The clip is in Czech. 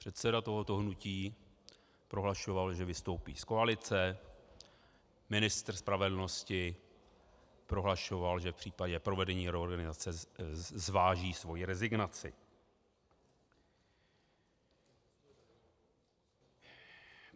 Předseda tohoto hnutí prohlašoval, že vystoupí z koalice, ministr spravedlnosti prohlašoval, že v případě provedení reorganizace zváží svoji rezignaci.